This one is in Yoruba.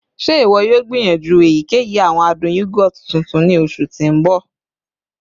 Ṣe iwọ yoo gbiyanju eyikeyi awọn adun yogurt tuntun ni oṣu ti n bọ?